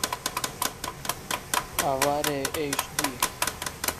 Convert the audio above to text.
авария эйч ди